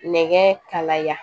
Nɛgɛ kalaya